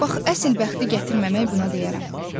Bax əsl bəxti gətirməmək buna deyərəm.